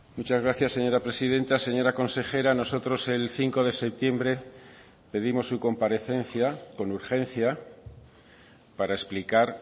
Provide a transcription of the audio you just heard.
muchas gracias señora presidenta señora consejera nosotros el cinco de septiembre pedimos su comparecencia con urgencia para explicar